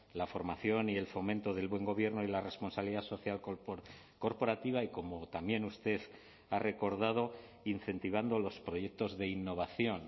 la formación y el fomento del buen gobierno y la responsabilidad social corporativa y como también usted ha recordado incentivando los proyectos de innovación